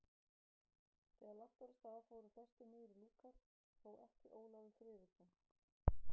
Þegar lagt var af stað fóru flestir niður í lúkar, þó ekki Ólafur Friðriksson.